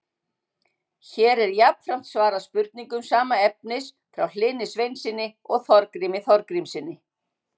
Hér er jafnframt svarað spurningum sama efnis frá Hlyni Sveinssyni og Þorgrími Þorgrímssyni.